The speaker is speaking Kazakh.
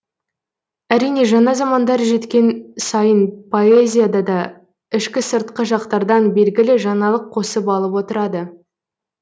әрине жаңа замандар жеткен сайын поэзияда да ішкі сыртқы жақтардан белгілі жаңалық қосып алып отырады